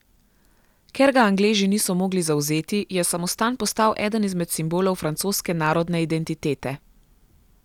Ker ga Angleži niso mogli zavzeti, je samostan postal eden izmed simbolov francoske narodne identitete.